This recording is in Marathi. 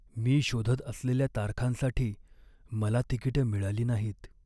मी शोधत असलेल्या तारखांसाठी मला तिकिटं मिळाली नाहीत.